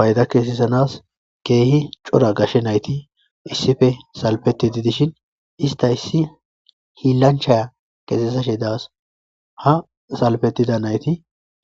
Fayda keesesanas keehi cora gashe nayti issife salpeti didishin ista issi hiillancha keesesashe daas ha salpetida nayti